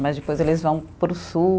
Mas depois eles vão para o sul.